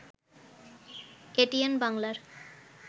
এটিএন-বাংলার